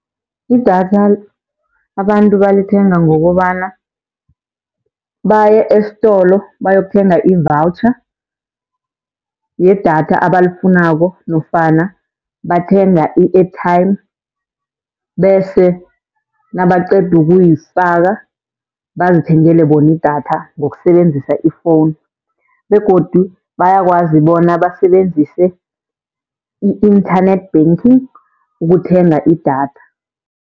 Idatha abantu balithenga ngokobana baye estolo bayokuthenga i-voucher yedatha abalifunako nofana bathenga i-airtime, bese nabaqeda ukuyifaka bazithengele bona idatha ngokusebenzisa ifowunu. Begodu bayakwazi bona basebenzise i-internet banking ukuthenga idatha.